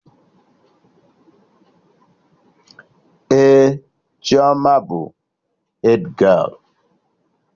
Ee, Chioma bụ hedgialụ